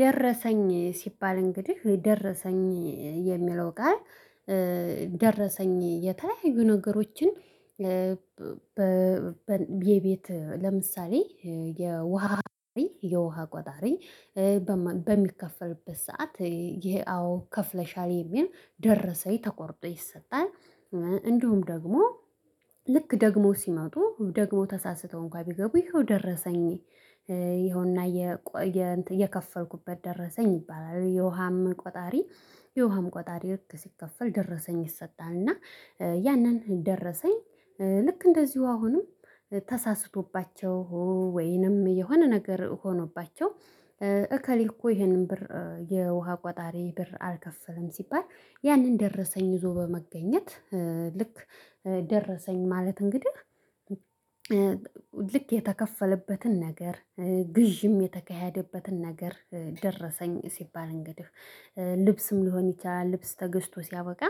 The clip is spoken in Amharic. ደረሰኝ ሲባል እንግዲህ ደረሰኝ የሚለው ቃል ደረሰኝ የተለያዩ ነገሮችን። በቤት ለምሳሌ የውሃ የውሃ ቆጣሪ በሚከፈልበት ሰዓት ይሄ አዎ ከፍለሻል የሚል ደረሰኝ ተቆርጦ ይሰጣል። እንደውም ደግሞ ልክ ደግሞ ሲመጡ ደግሞ ተሳስተው እንኳን ቢገቡ ይኸው ደረሰኝ ይኸውና የከፈርኩበት ደረሰኝ ይባላል። የውሃም ቆጣሪ የውሃም ቆጣሪ ልክ ሲከፈል ደረሰኝ ይሰጣል። እና ያንን ደረሰኝ ልክ እንደዚሁ አሁንም ተሳስቶባቸው ወይንም የሆነ ነገር ሆኖባቸው። እከሌ እኮ ይሄንን ብር የውሃ ቋጣሪ ብር አልከፍልም ሲባል ያንን ደረሰኝ ዞሮ በመገኘት ልክ ደረሰኝ ማለት እንግዲህ። ልክ የተከፈለበትን ነገር ግዢም የተካሄደበትን ነገር ደረሰኝ ሲባል እንግዲህ ልብስም ሊሆን ይችላል። ልብስ ተገዝቶ ሲያበቃ